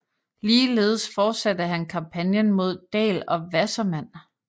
Ligeledes fortsatte han kampagnen mod Daell og Wassermann